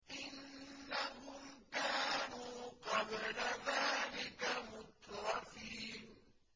إِنَّهُمْ كَانُوا قَبْلَ ذَٰلِكَ مُتْرَفِينَ